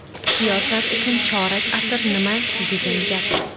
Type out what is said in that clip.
Siyosat uchun chorak asr nima degan gap?